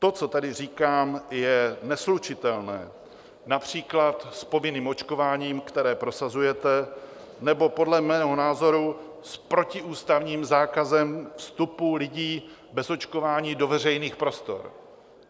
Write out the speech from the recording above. To, co tady říkám, je neslučitelné například s povinným očkováním, které prosazujete, nebo podle mého názoru s protiústavním zákazem vstupu lidí bez očkování do veřejných prostor.